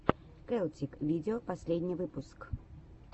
келтик видео последний выпуск